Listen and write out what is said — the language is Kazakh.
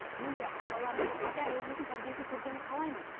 мен де баламның ата әжесінің тәрбиесін көргенін қалаймын